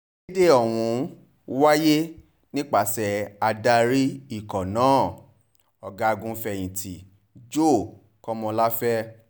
ìkéde ọ̀hún wáyé nípasẹ̀ adarí ikọ̀ náà ọ̀gágun-fẹ̀yìntì joe kọ́ńláfẹ̀